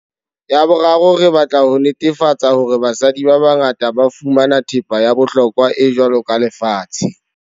Ya boraro, re batla ho netefatsa hore basadi ba bangata ba fumana thepa ya bohlokwa e jwalo ka lefatshe.